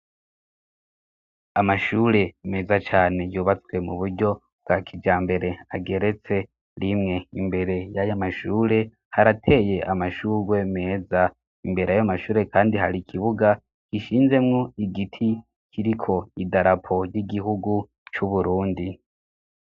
Amashure meza cane yubatswe mu buryo wa kija mbere ageretse rimwe imbere y'ayo amashure harateye amashurwe meza imbere ayo amashure, kandi hari ikibuga gishinzemwo igiti kiriko i darapo y'igihugu c'uburundi.